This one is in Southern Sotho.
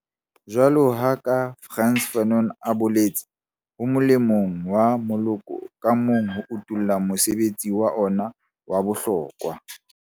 Jwaloka ha Frantz Fanon a boletse, ho molemong wa moloko ka mong ho utolla mosebetsi wa ona wa bohlokwa.